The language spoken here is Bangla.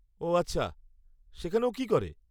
ওহ আচ্ছা, সেখানে ও কি করে?